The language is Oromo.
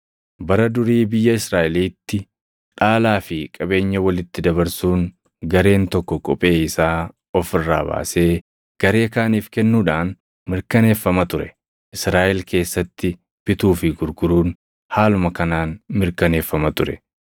Bara durii biyya Israaʼeliitti dhaalaa fi qabeenya walitti dabarsuun gareen tokko kophee isaa of irraa baasee garee kaaniif kennuudhaan mirkaneeffama ture. Israaʼel keessatti bituu fi gurguruun haaluma kanaan mirkaneeffama ture.